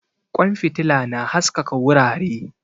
Kwan fitila na haskaka wurare